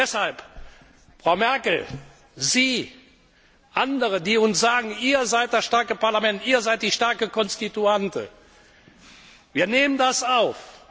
Deshalb, Frau Merkel, Sie, andere, die uns sagen Ihr seid das starke Parlament, ihr seid die starke Konstituante Wir nehmen das auf.